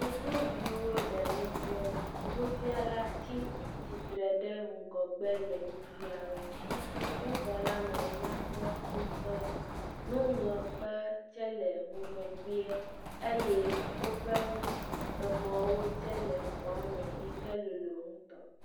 Sukuviwo le nusrɔm nufiala ti titre ɖe ŋgɔgbe le nufiam wo sukuxɔ la me nyakpɔ ŋtɔ nuŋlɔkpe tsɛ le ŋgɔgbea eye woƒe mɔwo tsɛ le xɔa me yi ke lolo ŋtɔ